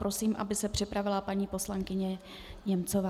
Prosím, aby se připravila paní poslankyně Němcová.